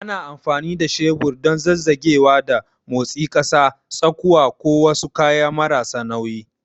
Ana amfani da shebur don zazzagewa da motsi ƙasa, tsakuwa, ko wasu kayan marasa nauyi.